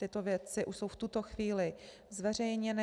Tyto věci už jsou v tuto chvíli zveřejněny.